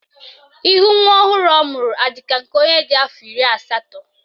Ihu nwa ọhụrụ ọ mụrụ adị ka nke onye dị afọ iri asatọ?